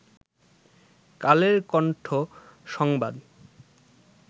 কালের কন্ঠ সংবাদ